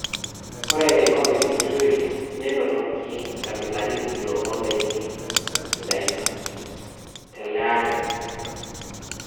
Ore enkop e kitui nenotoki nkabilaritin oo ndaiki sidain tele aari.